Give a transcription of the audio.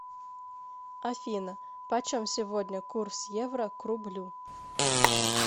афина почем сегодня курс евро к рублю